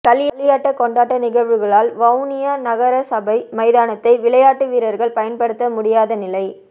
களியாட்ட கொண்டாட்ட நிழ்வுகளால் வவுனியா நகரசபை மைதானத்தை விளையாட்டு வீர்ர்கள் பயன்படுத்த முடியாத நிலை